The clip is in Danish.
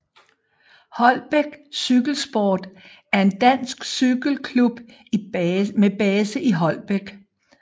Holbæk Cykelsport er en dansk cykelklub med base i Holbæk